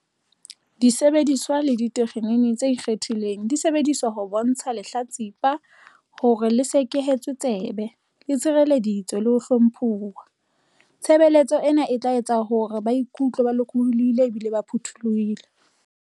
Disebediswa le ditekgenini tse ikgethileng di sebedisetswa ho bontsha lehla-tsipa hore le sekehetswe tsebe, le tshirelleditswe le ho hlomphuwa. Tshebeletso ena e tla etsa hore ba ikutlwe ba lokollohile ebile ba phuthollohile.